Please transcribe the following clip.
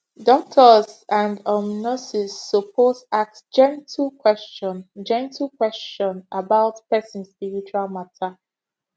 doctors and um nurses suppose ask gentle question gentle question about person spiritual matter